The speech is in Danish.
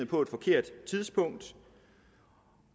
på et forkert tidspunkt